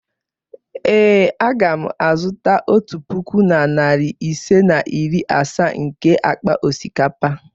Ee, aga m azụta otu puku na narị ise na iri asaa nke akpa osikapa.